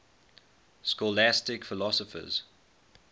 scholastic philosophers